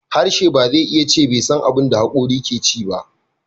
Harshe ba zai iya ce bai san abin da hakorin ke ci ba.